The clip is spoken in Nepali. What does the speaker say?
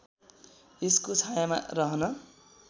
यसको छायामा रहन